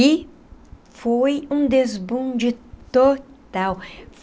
E foi um desbunde total.